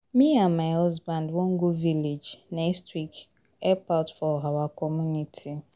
Me and my husband wan go village next week help out for our community